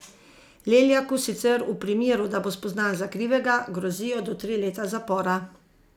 Leljaku sicer v primeru, da bo spoznan za krivega, grozijo do tri leta zapora.